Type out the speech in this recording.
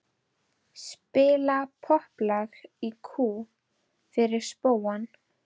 Spila popplag í kú fyrir spóann.